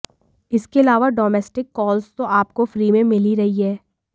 इसके अलावा domestic calls तो आपको फ्री में मिल ही रही हैं